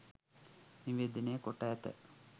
නිවේදනය කොට ඇත.